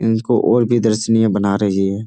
इनको और भी दर्शनीय बना रही है।